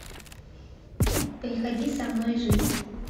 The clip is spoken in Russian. приходи со мной жить